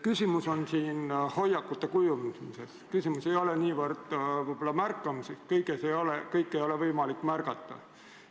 Küsimus on hoiakute kujundamises, küsimus ei ole võib-olla niivõrd märkamises – kõike ei ole võimalik märgata.